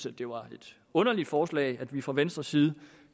at det var et underligt forslag da vi fra venstres side